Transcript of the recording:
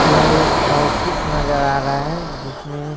यह एक ऑफिस नजर आ रहा है जिसमें--